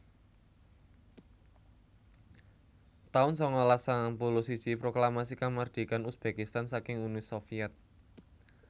taun sangalas sangang puluh siji Proklamasi Kamardikan Uzbekistan saking Uni Sovyet